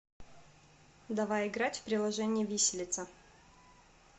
давай играть в приложение виселица